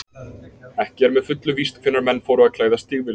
Ekki er með fullu víst hvenær menn fóru að klæðast stígvélum.